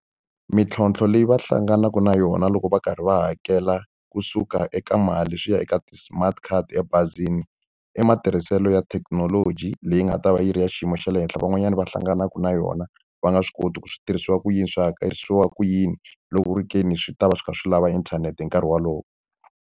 Mintlhontlho leyi va hlanganaka na yona loko va karhi va hakela kusuka eka mali swi ya eka ti-smart card emabazini, i matirhiselo ya thekinoloji leyi nga ta va yi ri ya xiyimo xa le henhla. Van'wanyana va hlanganaka na yona va nga swi koti ku swi tirhisiwa ku yini, swi hakerisiwa ku yini. Loko ku ri ke ni swi ta va swi kha swi lava inthanete hi nkarhi wolowo.